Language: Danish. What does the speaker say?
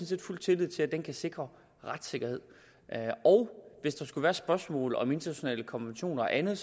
set fuld tillid til at den kan sikre retssikkerhed hvis der skulle være spørgsmål om internationale konventioner og andet